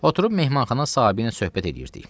Oturub mehmanxana sahibi ilə söhbət eləyirdik.